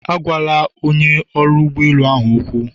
Agwala onye ọrụ ụgbọ elu ahụ okwu.